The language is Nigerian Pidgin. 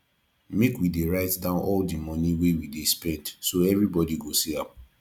make we dey write down all money wey we spend so everybody go see am